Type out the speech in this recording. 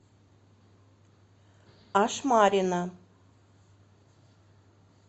ашмарина